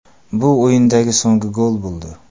Bu o‘yindagi so‘nggi gol bo‘ldi.